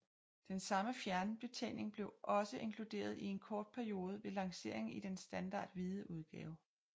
Den samme fjernbetjening blev også inkluderet i en kort periode ved lanceringen i den standard hvide udgave